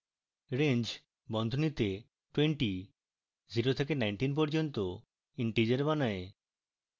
range বন্ধনীতে twenty 0 থেকে 19 পর্যন্ত integers বানায়